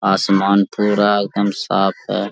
आसमान पूरा एकदम साफ है।